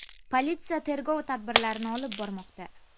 Politsiya tergov tadbirlarini olib bormoqda.